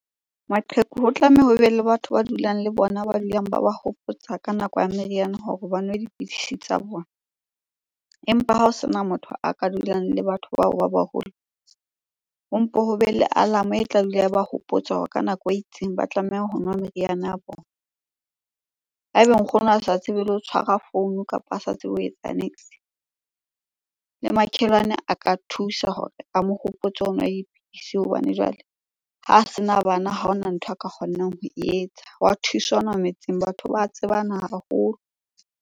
Maqheku ho tlameha hobe le batho ba dulang le bona, ba dulang ba wa hopotsa ka nako ya meriana hore ba nwe dipidisi tsa bona. Empa ha ho sena motho a ka dulang le batho bao ba baholo, ho mpe ho be le alarm-o e tla dula e ba hopotsa hore ka nako e itseng ba tlameha ho nwa meriana ya bona. Ha eba nkgono a sa tsebe le ho tshwara founu kapa a sa tsebe ho etsa niks. Le makhelwane a ka thusa hore a mo hopotsa ho nwa dipidisi hobane jwale ho sena bana ha hona ntho a ka kgonang ho e etsa. Hwa thusanwa metseng, batho ba tsebana haholo.